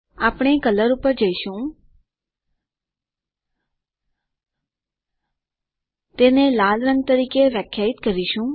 આપણે કલર પર જઈશું આપણે તે લાલ રંગ તરીકે વ્યાખ્યાયિત કરીશું